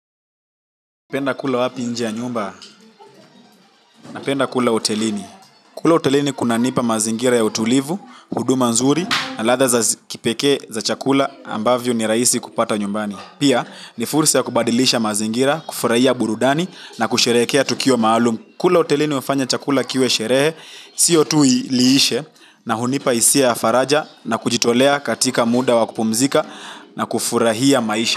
Napenda kula wapi nje ya nyumba, napenda kula hotelini. Kula hotelini kunanipa mazingira ya utulivu, huduma nzuri na ladha za kipekee za chakula ambavyo ni rahisi kupata nyumbani. Pia ni fursa ya kubadilisha mazingira kufurahia burudani na kusherehekea tukio maalum. Kula hotelini hufanya chakula kiwe sherehe, sio tu liishe na hunipa hisia ya faraja na kujitolea katika muda wa kupumzika na kufurahia maisha.